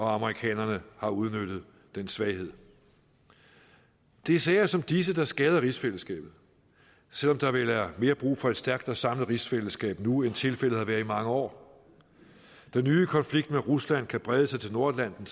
amerikanerne har udnyttet den svaghed det er sager som disse der skader rigsfællesskabet selv om der vel er mere brug for et stærkt og samlet rigsfællesskab nu end tilfældet har været i mange år den nye konflikt med rusland kan brede sig til nordatlanten